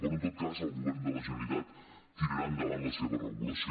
però en tot cas el govern de la generalitat tirarà endavant la seva regulació